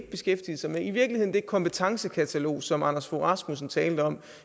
beskæftige sig med i virkeligheden det kompetencekatalog som anders fogh rasmussen talte om